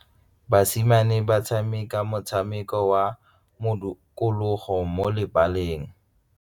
Basimane ba tshameka motshameko wa modikologô mo lebaleng.